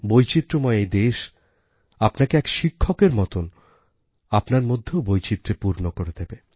বৈচিত্র্যময়দেশআপনাকে এক শিক্ষকের মতন আপনার মধ্যেও বৈচিত্র্যে পূর্ণ করে দেবে